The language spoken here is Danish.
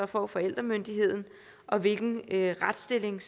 får forældremyndigheden og hvilken retsstilling